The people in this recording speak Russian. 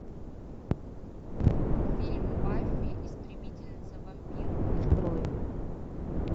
фильм баффи истребительница вампиров открой